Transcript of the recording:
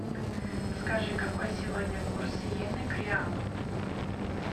скажи какой сегодня курс йены к реалу